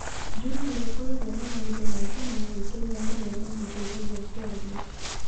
Juma nĩ akoragwo na maũndũ maingĩ ma gwĩkenia marĩa mamũteithagia kwaria.